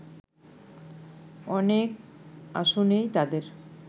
অনেক আসনেই তাদের